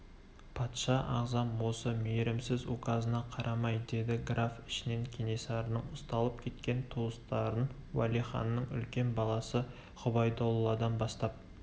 патша ағзам осы мейірімсіз указына қарамай деді граф ішінен кенесарының ұсталып кеткен туыстарын уәлиханның үлкен баласы ғұбайдолладан бастап